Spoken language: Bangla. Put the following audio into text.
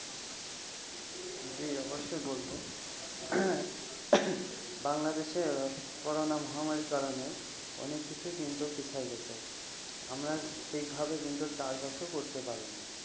জি অবশ্যই বলব. বাংলাদেশের করোনা মহামারীর কারণে অনেক কিছুই কিন্তু পিছিয়ে গেছে. আমরা সেভাবে কিন্তু চাষবাসও করতে পারি নি।